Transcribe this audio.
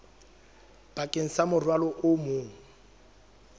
bakeng sa morwalo o mong